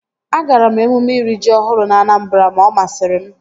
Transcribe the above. Agara m emume iri ji ọhụrụ na Anambra ma ọ masịrị m